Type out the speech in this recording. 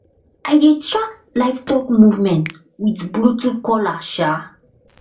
i dey track livestock movement with bluetooth collar um